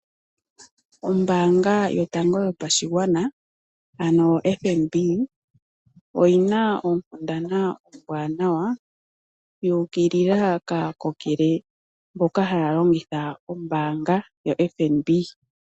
Ombaanga yotango yopashigwana, ano FNB, oyina onkundana ombwaanawa, yu ukilila kaakokele mboka haya longitha ombaanga yo FNB.